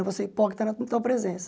Eu vou ser hipócrita na tua presença.